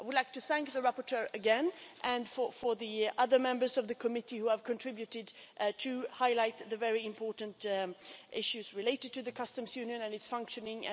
I would like to thank the rapporteur again and also the other members of the Committee who have helped to highlight the very important issues related to the Customs Union and its functioning.